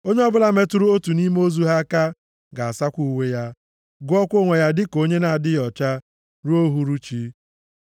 Onye ọbụla metụrụ otu nʼime ozu ha aka ga-asakwa uwe ya, gụọkwa onwe ya dịka onye na-adịghị ọcha ruo uhuruchi.